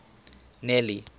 nelly